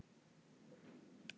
Að þora